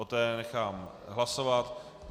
O té nechám hlasovat.